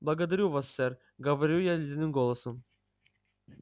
благодарю вас сэр говорю я ледяным голосом